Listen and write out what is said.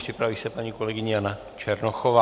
Připraví se paní kolegyně Jana Černochová.